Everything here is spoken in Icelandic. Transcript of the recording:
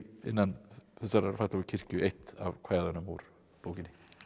innan þessarar fallegu kirkju eitt af kvæðunum úr bókinni